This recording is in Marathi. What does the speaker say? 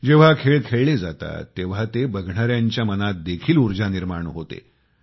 जेंव्हा खेळ खेळले जातात तेंव्हा ते बघणाऱ्यांच्या मनात देखील उर्जा निर्माण होते